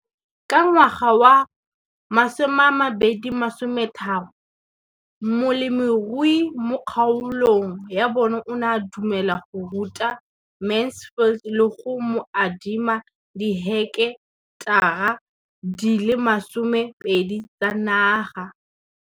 Ka ngwaga wa 2013, molemirui mo kgaolong ya bona o ne a dumela go ruta Mansfield le go mo adima di heketara di le 12 tsa naga.